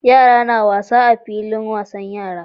Yara na wasa a filin wasan yara